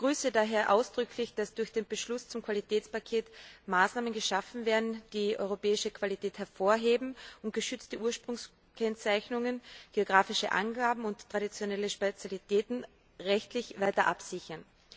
Ich begrüße daher ausdrücklich, dass durch den Beschluss zum Qualitätspaket Maßnahmen geschaffen werden, die europäische Qualität hervorheben und geschützte Ursprungskennzeichnungen, geographische Angaben und traditionelle Spezialitäten rechtlich weiter absichern.